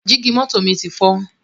Jígí mọ́tò mi ti fọ́